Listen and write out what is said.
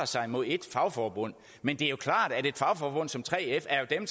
sig mod ét fagforbund men det er jo klart at et fagforbund som 3f er dem